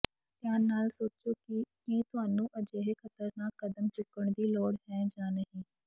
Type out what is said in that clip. ਧਿਆਨ ਨਾਲ ਸੋਚੋ ਕਿ ਕੀ ਤੁਹਾਨੂੰ ਅਜਿਹੇ ਖ਼ਤਰਨਾਕ ਕਦਮ ਚੁੱਕਣ ਦੀ ਲੋੜ ਹੈ ਜਾਂ ਨਹੀਂ